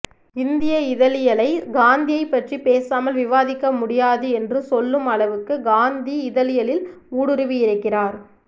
இந்திய இதழியலை காந்தியைப் பற்றி பேசாமல் விவாதிக்க முடியாது என்றுசொல்லும் அளவுக்கு காந்தி இதழியலில் ஊடுருவியிருக்கிறார்